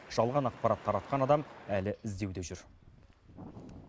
жалған ақпарат таратқан адам әлі іздеуде жүр